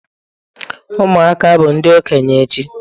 Ụmụaka bụ ndị okenye echi.